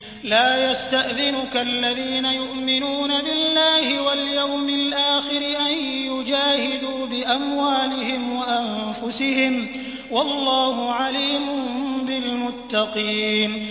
لَا يَسْتَأْذِنُكَ الَّذِينَ يُؤْمِنُونَ بِاللَّهِ وَالْيَوْمِ الْآخِرِ أَن يُجَاهِدُوا بِأَمْوَالِهِمْ وَأَنفُسِهِمْ ۗ وَاللَّهُ عَلِيمٌ بِالْمُتَّقِينَ